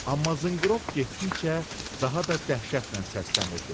Amma zınqırov getdikcə daha da dəhşətlə səslənirdi.